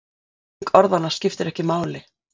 Merking orðanna skiptir ekki máli.